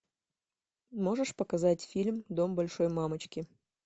можешь показать фильм дом большой мамочки